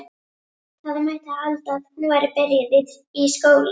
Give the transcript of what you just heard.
Það mætti halda að hún væri byrjuð í skóla.